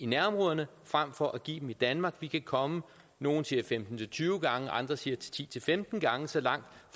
nærområderne frem for at give dem i danmark vi kan komme nogle siger femten til tyve gange andre siger ti til femten gange så langt